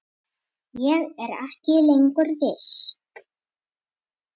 Ég er ekki lengur viss.